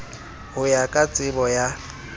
ho ya ka tsebo ya